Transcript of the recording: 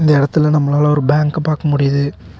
இந்த எடத்தல நம்மளால ஒரு பேங்க்க பாக்க முடியிது.